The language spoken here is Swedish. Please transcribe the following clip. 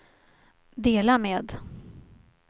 dela med